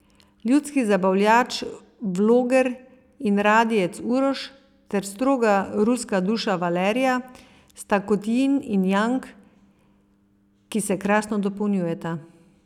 Ljudski zabavljač, vloger in radijec Uroš ter stroga ruska duša Valerija sta kot jin in jang, ki se krasno dopolnjujeta.